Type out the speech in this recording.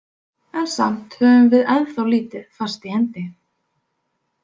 En samt höfum við ennþá lítið fast í hendi.